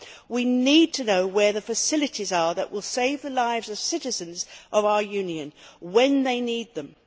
We need to know where the facilities are that will save the lives of citizens of our Union when they need them.